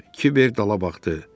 Kiver dala baxdı.